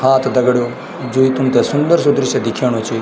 हां त दगड़ियों जो यू तुमते सुंदर सी दृश्य दिखेंणु च --